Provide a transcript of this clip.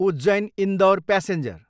Ujjain, Indore passenger